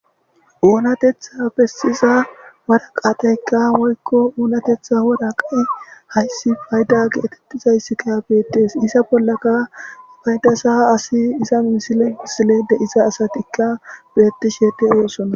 oonatetha bessiza waraqateykka woykko oonatetha waraqa hayssi fayda geetettizayssika beettees isa bollaka faydasa asi isa misile misile deisa asatikka beetti sheete oosonna